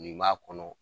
Nin b'a kɔnɔ